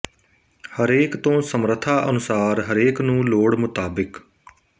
ਹਰੇਕ ਤੋਂ ਸਮਰਥਾ ਅਨੁਸਾਰ ਹਰੇਕ ਨੂੰ ਲੋੜ ਮੁਤਾਬਿਕ